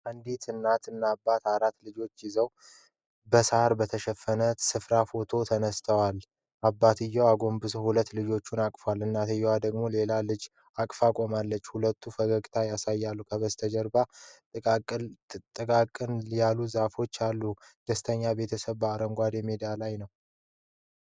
አንዲት እናትና አባት አራት ልጆቻቸውን ይዘው በሳር በተሸፈነ ስፍራ ፎቶ ተነስተዋል። አባቱ አጎንብሰው ሁለት ልጆች አቅፈዋል፤ እናትየው ደግሞ ሌላ ልጅ አቅፋ ቆማለች። ሁሉም ፈገግታ ያሳያሉ፤ ከበስተጀርባ ጥቅጥቅ ያሉ ዛፎች አሉ። ደስተኛ ቤተሰብ በአረንጓዴ ሜዳ ላይ ነው።